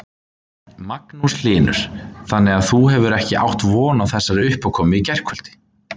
Magnús Hlynur: Þannig að þú hefur ekki átt von á þessari uppákomu í gærkvöldi?